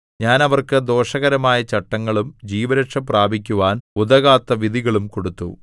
ഞാൻ അവർക്ക് ദോഷകരമായ ചട്ടങ്ങളും ജീവരക്ഷ പ്രാപിക്കുവാൻ ഉതകാത്ത വിധികളും കൊടുത്തു